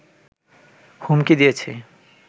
হুমকি দিয়েছে